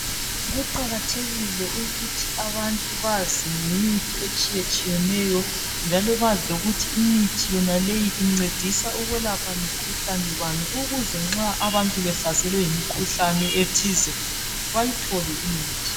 Kuqakathekile ukuthi abantu bazi ngemithi etshiyetshiyeneyo njalo bazi lokuthi imithi yonaleyi incedisa ukwelapha mikhuhlane bani ukuze nxa abantu behlaselwe yimikhuhlane ethize bayithole imithi.